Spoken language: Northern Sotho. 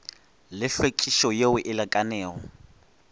le hlwekišo yeo e lekanego